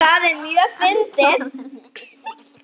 Það er mjög fyndið.